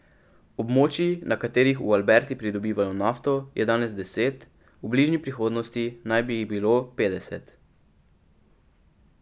Območij, na katerih v Alberti pridobivajo nafto, je danes deset, v bližnji prihodnosti naj bi jih bilo petdeset.